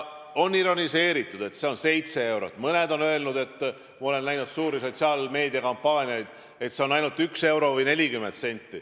On ironiseeritud, et see on 7 eurot, mõned on öelnud – ma olen näinud suuri sotsiaalmeedia kampaaniaid –, et kasv on ainult 1 euro ja 40 senti.